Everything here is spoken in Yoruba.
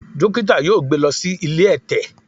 Dókítà yóò gbé lọ sí ilé ẹ̀tẹ̀.